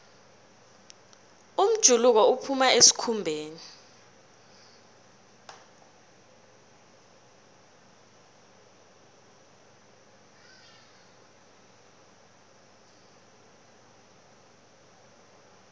umjuluko uphuma esikhumbeni